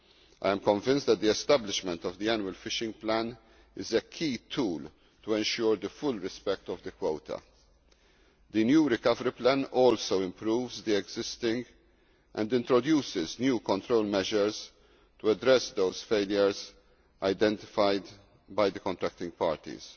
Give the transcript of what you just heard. I am convinced that the establishment of the annual fishing plan is a key tool in ensuring the full respect of the quota. The new recovery plan also improves the existing one and introduces new control measures to address those failures identified by the contracting parties,